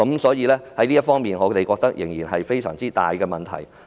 所以，我們覺得這方面的問題仍然非常大。